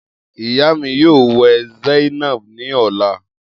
Iya mi yoo wẹ zainab ni ọla.